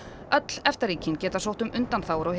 öll EFTA ríkin geta sótt um undanþágur og